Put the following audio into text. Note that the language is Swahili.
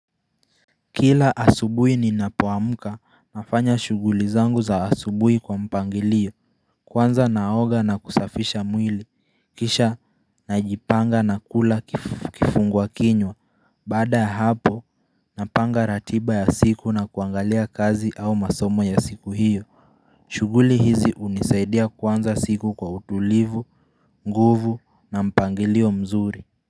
Kila asubuhi ninapoamuka nafanya shuguli zangu za asubuhi kwa mpangilio kwanza naoga na kusafisha mwili Kisha najipanga na kula kifungwa kinywa baada ya hapo napanga ratiba ya siku na kuangalia kazi au masomo ya siku hiyo shuguli hizi hunisaidia kwanza siku kwa utulivu, nguvu na mpangilio mzuri.